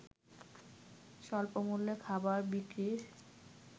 স্বল্পমূল্যে খাবার বিক্রির